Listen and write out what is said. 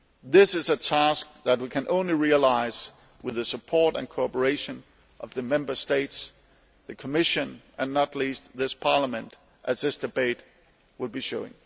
This is a task that we can only achieve with the support and cooperation of the Member States, the Commission and, not least, this Parliament, as this debate will show.